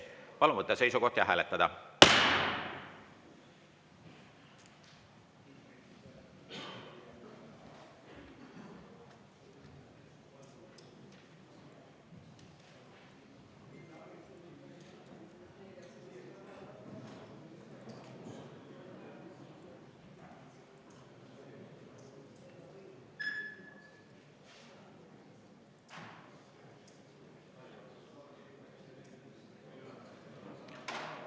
Palun võtta seisukoht ja hääletada!